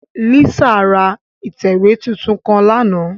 Lisa ra itẹwe titun kan làná